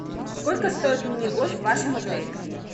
сколько стоит мини гольф в вашем отеле